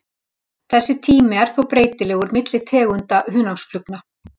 Þessi tími er þó breytilegur milli tegunda hunangsflugna.